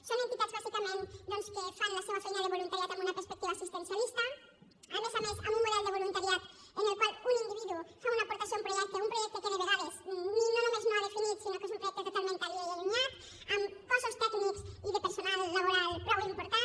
són entitats bàsicament que fan la seua feina de voluntariat amb una perspectiva assistencialista a més a més amb un model de voluntariat en el qual un individu fa una aportació a un projecte un projecte que de vegades no només no ha definit sinó que és un projecte totalment aliè i allunyat amb cossos tècnics i de personal laboral prou important